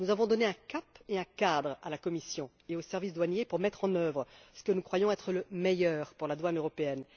Nous avons donné un cap et un cadre à la Commission et aux services douaniers pour mettre en œuvre ce que nous croyons être le mieux pour la douane européenne.